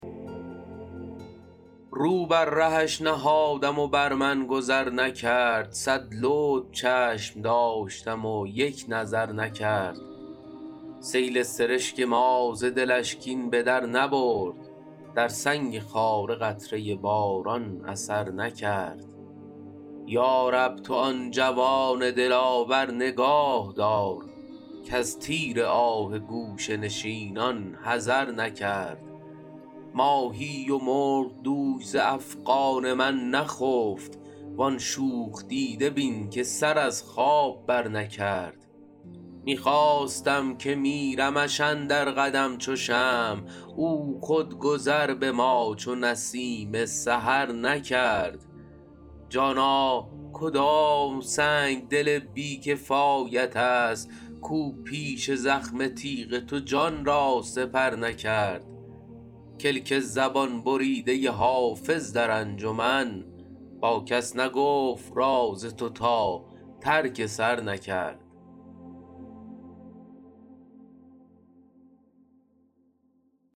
رو بر رهش نهادم و بر من گذر نکرد صد لطف چشم داشتم و یک نظر نکرد سیل سرشک ما ز دلش کین به در نبرد در سنگ خاره قطره باران اثر نکرد یا رب تو آن جوان دلاور نگاه دار کز تیر آه گوشه نشینان حذر نکرد ماهی و مرغ دوش ز افغان من نخفت وان شوخ دیده بین که سر از خواب برنکرد می خواستم که میرمش اندر قدم چو شمع او خود گذر به ما چو نسیم سحر نکرد جانا کدام سنگدل بی کفایت است کاو پیش زخم تیغ تو جان را سپر نکرد کلک زبان بریده حافظ در انجمن با کس نگفت راز تو تا ترک سر نکرد